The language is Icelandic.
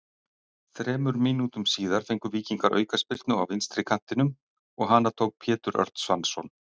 Þremur mínútum síðar fengu Víkingar aukaspyrnu á vinstri kantinum og hana tók Pétur Örn Svansson.